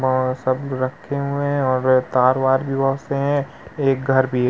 और सब रक्खे हुए हैं और तार वार भी बहोत से है। एक घर भी है।